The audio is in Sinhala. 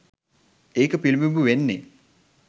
එක පිළිබිඹු වෙන්නේ